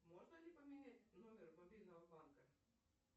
можно ли поменять номер мобильного банка